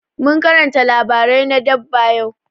Mun karanta labarai na dabba yau.